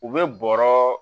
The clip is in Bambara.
U bɛ bɔrɔ